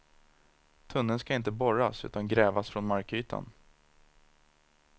Tunneln skall inte borras utan grävas från markytan.